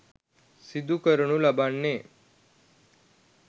සිදුකරනු ලබන්නේ